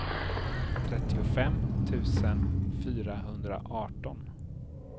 trettiofem tusen fyrahundraarton